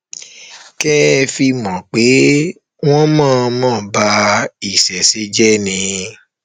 kẹ ẹ fi mọ pé wọn ń mọọnmọ ba ìṣẹṣẹ jẹ ni